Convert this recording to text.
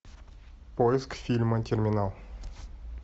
поиск фильма терминал